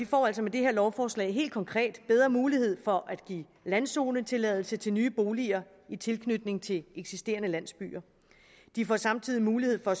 får altså med det her lovforslag helt konkret bedre mulighed for at give landzonetilladelse til nye boliger i tilknytning til eksisterende landsbyer de får samtidig mulighed for at